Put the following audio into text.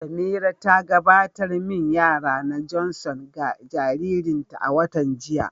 Samira ta gabatar da main yara na Johnson ga jaririnta a watan jiya.